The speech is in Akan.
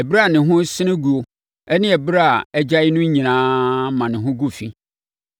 Ɛberɛ a ne ho resene guo ne ɛberɛ a agyae no nyinaa ma ne ho gu fi.